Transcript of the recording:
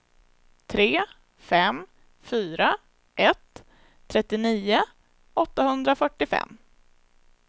tre fem fyra ett trettionio åttahundrafyrtiofem